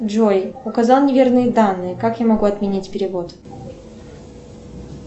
джой указал неверные данные как я могу отменить перевод